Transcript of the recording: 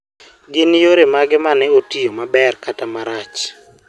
gin yore mage mane otiyo maber kata marach